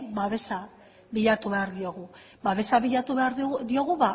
babesa bilatu behar diogu babesa bilatu behar diogu